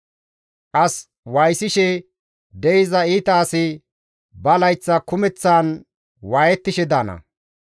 As waayisishe de7iza iita asi ba layththa kumeththan waayettishe daana.